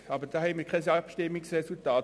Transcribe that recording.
Dazu haben wir aber kein Abstimmungsresultat.